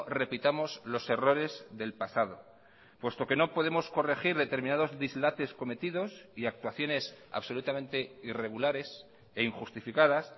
repitamos los errores del pasado puesto que no podemos corregir determinados dislates cometidos y actuaciones absolutamente irregulares e injustificadas